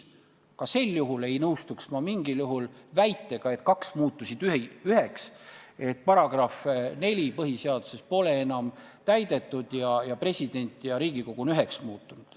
Ka sel juhul ei nõustuks ma mingil juhul väitega, et kaks muutus üheks – põhiseaduse § 4 pole enam täidetud ning president ja Riigikogu on üheks muutunud.